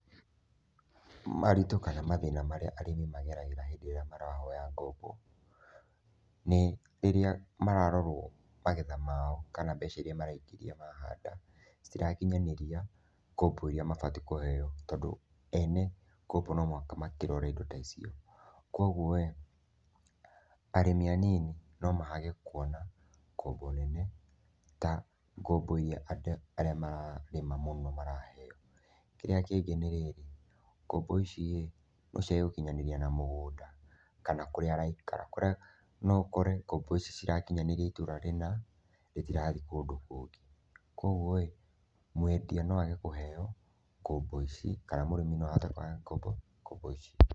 Maritũ kana mathĩna marĩa arĩmi mageragĩra hĩndĩ ĩrĩa marahoya ngombo. Nĩ rĩrĩa mararorwo, magetha mao kana mbeca iria maraingĩria mahanda cĩtirakinyanĩria ngombo ĩria mabatiĩ kũheo, tondũ ene ngombo no mũhaka marore ĩndo ta icio. Kwoguoĩ arĩmi anini no mage kuona ngombo nene ta ngombo iria andũ arĩa mararĩma mũno maraheo. Kĩrĩa kĩngi ni rĩrĩ, ngombo iciĩ nocĩage gũkinyanĩrĩa na mũgũnda kana kũria araĩkara kũria no ũkore ngombo ici citirakinyanĩria ítũra rĩna, ritirathiĩ kũndũ kũngĩ. Kwoguoĩ mwendia no age kũheo ngombo ici, kana murĩmi no ahote kwaga ngombo ici.